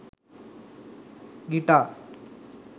guitar